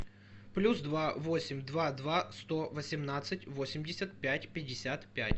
плюс два восемь два два сто восемнадцать восемьдесят пять пятьдесят пять